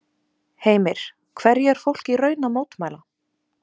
Heimir, hverju er fólk í raun að mótmæla?